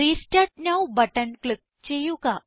restart now button click ചെയ്യുക